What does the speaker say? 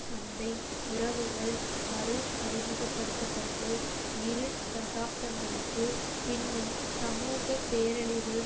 சந்தை உறவுகள் மறு அறிமுகபடுத்த பட்டு இரு தசாப்தங்களுக்கு பின்னும் சமூக பேரழிவு